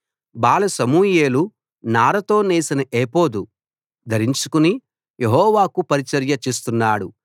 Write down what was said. బాల సమూయేలు నారతో నేసిన ఏఫోదు ధరించుకుని యెహోవాకు పరిచర్య చేస్తున్నాడు